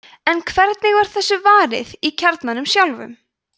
en hvernig var þessu varið í kjarnanum sjálfum